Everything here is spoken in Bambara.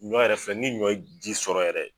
Ɲɔ yɛrɛ filɛ ni ɲɔ ji sɔrɔ yɛrɛ.